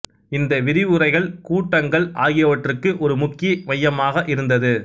இந்த விரிவுரைகள் கூட்டங்கள் ஆகியவற்றுக்கு ஒரு முக்கிய மையமாக இருந்தது